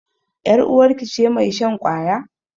Yar uwarki ce mai shan ƙwaya?